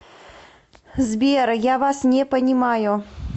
сбер я вас не понимаю